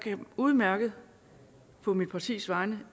udmærket på mit partis vegne